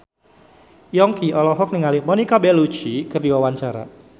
Yongki olohok ningali Monica Belluci keur diwawancara